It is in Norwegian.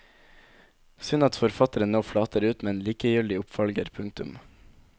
Synd at forfatteren nå flater ut med en likegyldig oppfølger. punktum